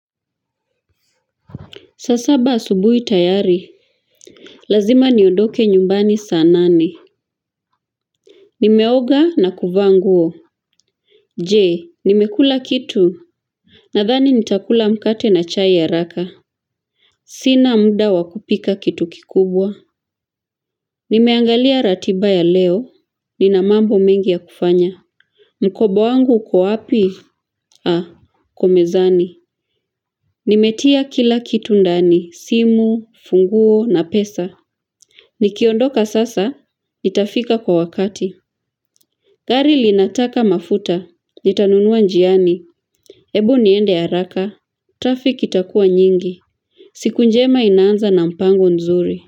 Saa saba asubuhi tayari. Lazima niondoke nyumbani saa nane. Nimeoga na kuvaa nguo. Je, nimekula kitu. Nadhani nitakula mkate na chai haraka. Sina muda wa kupika kitu kikubwa. Nimeangalia ratiba ya leo. Nina mambo mengi ya kufanya. Mkoba wangu uko wapi? Ha, uko mezani. Nimetia kila kitu ndani. Simu, funguo na pesa. Nikiondoka sasa. Nitafika kwa wakati. Gari linataka mafuta nitanunua njiani hebu niende haraka Traffic itakua nyingi. Siku njema inaanza na mpango nzuri.